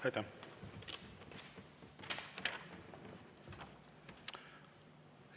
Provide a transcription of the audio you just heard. Aitäh!